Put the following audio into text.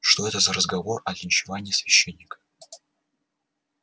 что это за разговор о линчевании священника